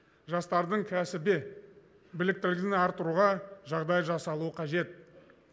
жастардың кәсіби біліктілігін арттыруға жағдай жасалуы қажет